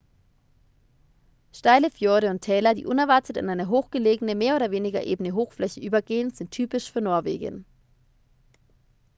steile fjorde und täler die unerwartet in eine hochgelegene mehr oder weniger ebene hochfläche übergehen sind typisch für norwegen